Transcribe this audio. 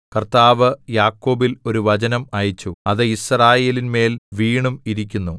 കർത്താവ് യാക്കോബിൽ ഒരു വചനം അയച്ചു അത് യിസ്രായേലിന്മേൽ വീണും ഇരിക്കുന്നു